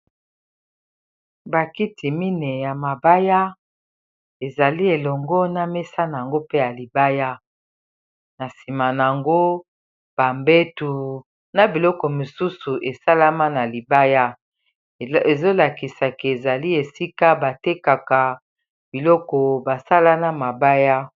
bakiti mine ya mabaya ezali elongo na mesa na yango pe ya libaya na nsima nyango bambetu na biloko mosusu esalama na libaya ezolakisaka ezali esika batekaka biloko basala na mabaya